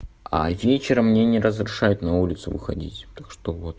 а вечером мне не разрешают на улицу выходить так что вот